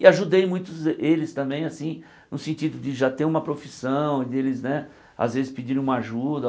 E ajudei muitos eles também, assim, no sentido de já ter uma profissão e deles, né, às vezes pedir uma ajuda.